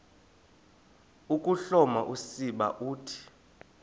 ukuhloma usiba uthi